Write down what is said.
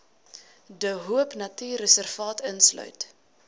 de hoopnatuurreservaat insluit